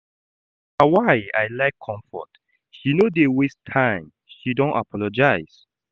Na why I like Comfort, she no dey waste time she don apologise